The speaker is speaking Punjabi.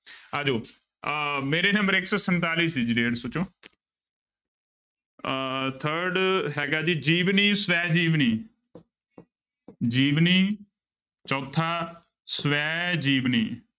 ਆ ਜਾਓ ਅਹ ਮੇਰੇ number ਇੱਕ ਸੌ ਸੰਤਾਲੀ ਸੀ ਜੀ ਡੇਢ ਸੌ ਚੋਂ ਅਹ third ਹੈਗਾ ਜੀ ਜੀਵਨੀ ਸ੍ਵੈ ਜੀਵਨੀ ਜੀਵਨੀ ਚੌਥਾ ਸ੍ਵੈ ਜੀਵਨੀ।